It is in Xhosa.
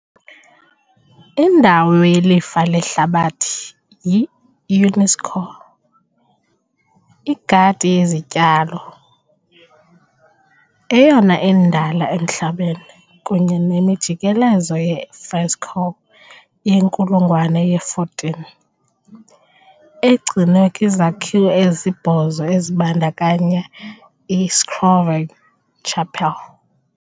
indawo yelifa lehlabathi yi- UNESCO - igadi yezityalo, eyona indala emhlabeni, kunye nemijikelezo ye-fresco yenkulungwane ye-14, egcinwe kwizakhiwo ezisibhozo ezibandakanya iScrovegni chapel .